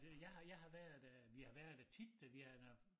Jeg har jeg har været øh vi har været der tit da vi har når